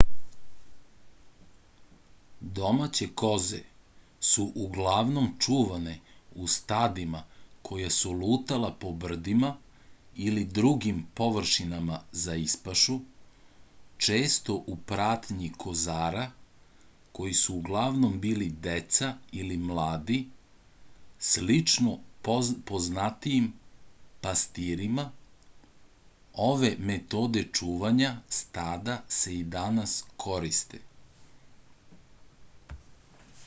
domaće koze su uglavnom čuvane u stadima koja su lutala po brdima ili drugim površinama za ispašu često u pratnji kozara koji su uglavnom bili deca ili mladi slično poznatijim pastirima ove metode čuvanja stada se i danas koriste